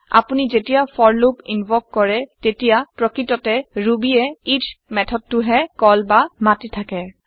আপোনি যেতিয়া for loop invoke কৰে তেতিয়া প্ৰকৃততে Rubyএ ইচ মেথডেটোহে কল বা মাতি থাকে